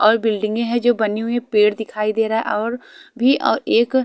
और बिल्डिंगे जो है बनी हुई है पेड़ दिखाई दे रहा है और भी और एक --